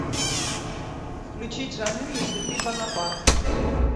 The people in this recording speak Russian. включить жаным если ты бонапарт